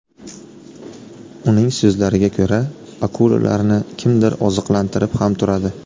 Uning so‘zlariga ko‘ra, akulalarni kimdir oziqlantirib ham turadi.